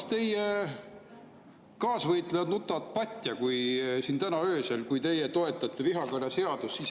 Las teie kaasvõitlejad nutavad patja, kui teie siin täna öösel toetate vihakõneseadust.